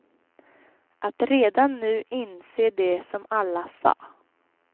Att redan nu inse det som alla sa.